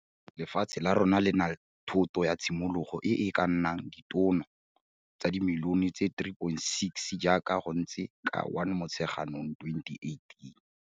Lefatshe la rona le na thoto ya tshimologo e e ka nnang ditono tsa dimilione tse 3,6 jaaka go ntse ka 1 Motsheganong 2018.